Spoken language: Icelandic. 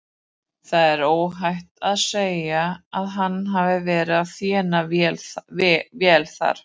Það er óhætt að segja að hann hafi verið að þéna vel þar.